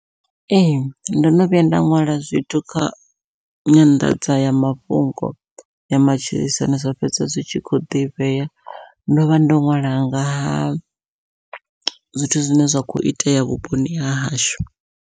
Ee ndo no vhuya nda ṅwala zwithu kha nyanḓadzayamafhungo ya matshilisano zwa fhedza zwi tshi kho ḓivhea, ndovha ndo ṅwala nga ha zwithu zwine zwa kho itea vhuponi hahashu.